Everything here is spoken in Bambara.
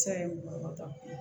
Sa ye mɔgɔ tan